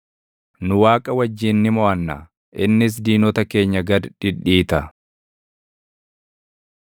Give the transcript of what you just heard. Nu Waaqa wajjin ni moʼanna; innis diinota keenya gad dhidhiita.